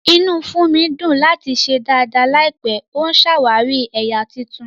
Inú Funmi dùn láti ṣe dàda láìpẹ́, ó ń ṣàwárí ẹ̀yà tuntun.